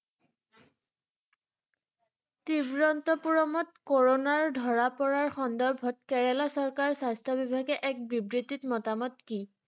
তিৰুৱন্তপুৰমত কৰণাৰ ধৰা পৰাৰ সন্দৰ্ভত কেৰেলা চৰকাৰ স্বাস্থ্য বিভাগে এক বিবৃতিত মতামত কি?